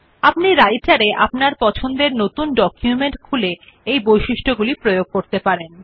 আপনি রাইটের এ আপনার পছন্দের নতুন ডকুমেন্ট খুলে এই বৈশিষ্ট্য গুলি প্রয়োগ করতে পারেন